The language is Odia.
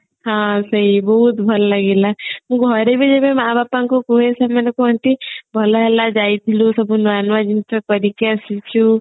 ହଁ ସେଇ ବହୁତ ଭଲ ଲାଗିଲା ମୁଁ ଘରେ ମା ବାପାଙ୍କୁ କୁହେ ସେମାନେ କୁହନ୍ତି ଭଲ ହେଲା ଯାଇଥିଲୁ ସବୁ ନୂଆ ନୂଆ ଜିନିଷ କରିକି ଆସିଛୁ